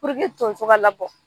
tonso ka labɔ